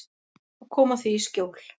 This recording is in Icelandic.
Og koma því í skjól.